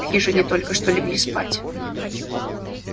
в хижине только что легли спать